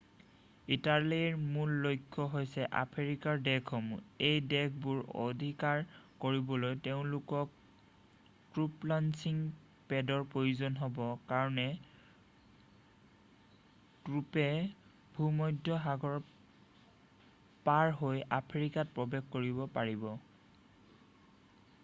ইটালীৰ মূল লক্ষ্য হৈছে আফ্ৰিকাৰ দেশসমূহ এই দেশবোৰ অধিকাৰ কৰিবলৈ তেওঁলোকক ট্ৰুপ লঞ্চিং পেডৰ প্ৰয়োজন হ'ব কাৰণ ট্ৰুপে ভূমধ্য সাগৰ পাৰহৈ আফ্ৰিকাত প্ৰৱেশ কৰিব পাৰিব